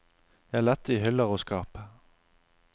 Jeg lette i hyller og skap.